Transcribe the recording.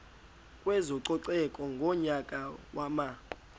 kwezococeko ngonyaka wama